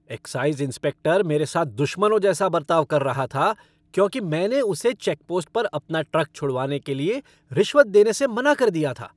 Exercise inspector मेरे साथ दुश्मनों जैसा बर्ताव कर रहा था, क्योंकि मैंने उसे चेकपोस्ट पर अपना ट्रक छुड़वाने के लिए रिश्वत देने से मना कर दिया था।